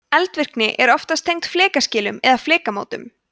eldvirkni er oftast tengd flekaskilum eða flekamótum